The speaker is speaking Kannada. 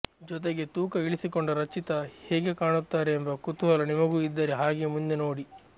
ಜೊತೆಗೆ ತೂಕ ಇಳಿಸಿಕೊಂಡ ರಚಿತಾ ಹೇಗೆ ಕಾಣುತ್ತಾರೆ ಎಂಬ ಕುತೂಹಲ ನಿಮಗೂ ಇದ್ದರೆ ಹಾಗೆ ಮುಂದೆ ನೋಡಿ